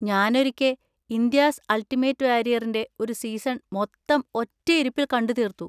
ഞാനൊരിക്കെ 'India's ultimate വാരിയറി'ൻ്റെ ഒരു season മൊത്തം ഒറ്റയിരുപ്പിൽ കണ്ടുതീർത്തു.